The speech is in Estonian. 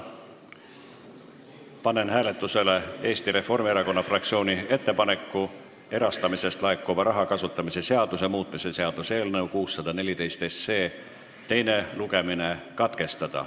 Panen hääletusele Eesti Reformierakonna fraktsiooni ettepaneku erastamisest laekuva raha kasutamise seaduse muutmise seaduse eelnõu 614 teine lugemine katkestada.